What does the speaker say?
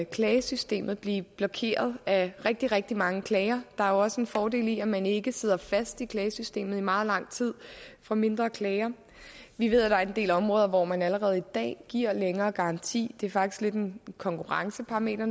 klagesystemet blive blokeret af rigtig rigtig mange klager der er jo også en fordel i at man ikke sidder fast i klagesystemet i meget lang tid for mindre klager vi ved at der er en del områder hvor man allerede i dag giver længere garanti det faktisk lidt af en konkurrenceparameter